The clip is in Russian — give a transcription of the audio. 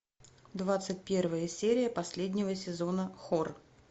двадцать первая серия последнего сезона хор